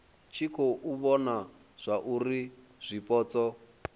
tshi khou vhona zwauri zwipotso